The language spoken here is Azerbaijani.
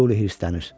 Tiuli hirslənir.